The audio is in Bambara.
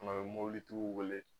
Tuma bɛɛ mobilitigiw wele.